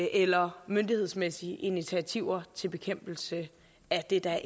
eller myndighedsmæssige initiativer til bekæmpelse af det der